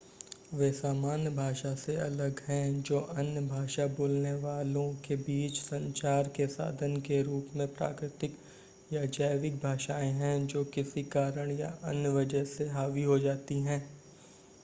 वे सामान्य भाषा से अलग हैं जो अन्य भाषा बोलने वालों के बीच संचार के साधन के रूप में प्राकृतिक या जैविक भाषाएं हैं जो किसी कारण या अन्य वजह से हावी हो जाती हैं